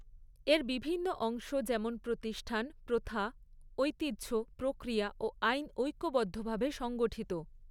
এর বিভিন্ন অংশ যেমন প্রতিষ্ঠান, প্রথা, ঐতিহ্য, প্ৰক্ৰিয়া ও আইন ঐক্যবদ্ধভাবে সংগঠিত।